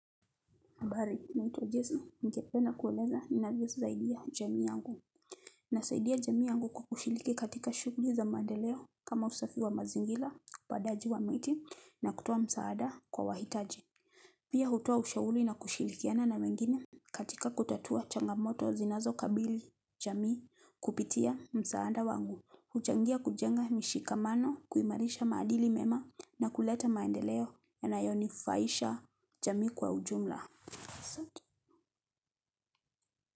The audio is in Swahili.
Habari, naitwa jese, ningependa kueleza ninavyosaidia jamii yangu. Na saidia jamii yangu kukushiliki katika shugli za maandeleo kama usafi wa mazingila, upandaji wa miti, na kutoa msaada kwa wahitaji. Pia hutoa ushauli na kushilikiana na wengine katika kutatua changamoto zinazo kabili jamii kupitia msaada wangu. Huchangia kujenga mishikamano kuimarisha maadili mema na kuleta maandeleo ya nayonifaisha jamii kwa ujumla.